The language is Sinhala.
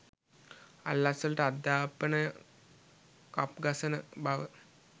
අල්ලස්වලට අධ්‍යාපනය කප් ගසන බව